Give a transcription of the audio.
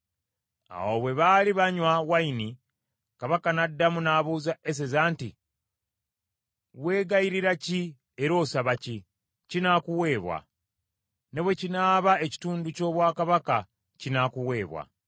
Awo bwe baali banywa wayini, Kabaka n’addamu n’abuuza Eseza nti, “Wegayirira ki era osaba ki? Kinaakuweebwa. Ne bwe kinaaba ekitundu ky’obwakabaka kinaakuweebwa.”